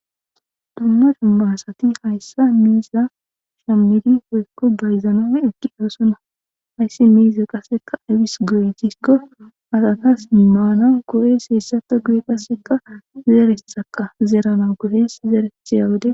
Dumma dummaasati hayssa miiza shammidi hoykko bayzanoe ekki oosonna hayssi miiza qasseka aywis goyetiskko asatas mimaanan koo7es heessata guye qasseka zeeretsaka zeerana gohes zeerethiya wode.